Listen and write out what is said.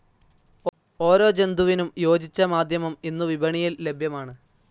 ഓരോ ജന്തുവിനും യോജിച്ച മാധ്യമം ഇന്നു വിപണിയിൽ ലഭ്യമാണ്.